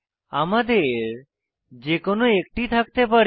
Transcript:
আমাদের যে কোনো একটি থাকতে পারে